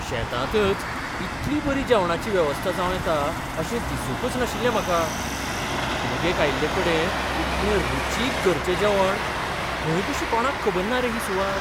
शेतांतच इतली बरी जेवणाची वेवस्था जावं येता अशें दिसूंकच नाशिल्लें म्हाका. पिकनिकेक आयिल्लेकडेन इतलें रुचीक घरचें जेवण! खंय कशी कोणाक खबर ना रे ही सुवात?